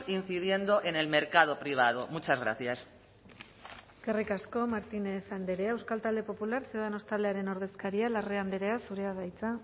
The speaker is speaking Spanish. incidiendo en el mercado privado muchas gracias eskerrik asko martínez andrea euskal talde popular ciudadanos taldearen ordezkaria larrea andrea zurea da hitza